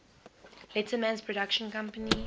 letterman's production company